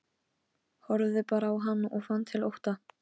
Horfði bara á hann og fann til ótta.